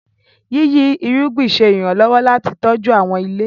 yiyi irúgbìn ṣe iranlọwọ láti tọjú àwọn ilé.